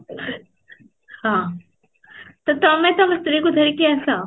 ହଁ, ତ ତମେ ତମ ସ୍ତ୍ରୀ କୁ ଧରିକି ଆସ